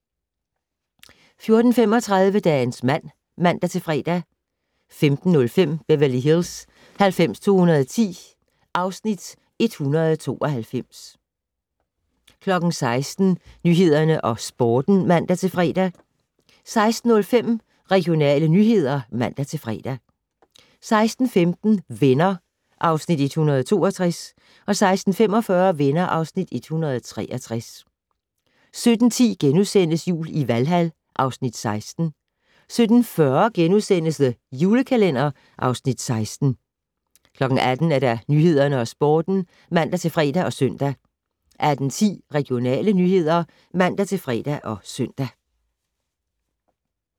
14:35: Dagens mand (man-fre) 15:05: Beverly Hills 90210 (Afs. 192) 16:00: Nyhederne og Sporten (man-fre) 16:05: Regionale nyheder (man-fre) 16:15: Venner (Afs. 162) 16:45: Venner (Afs. 163) 17:10: Jul i Valhal (Afs. 16)* 17:40: The Julekalender (Afs. 16)* 18:00: Nyhederne og Sporten (man-fre og søn) 18:10: Regionale nyheder (man-fre og søn)